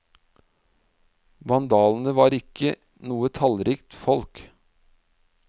Vandalene var ikke noe tallrikt folk.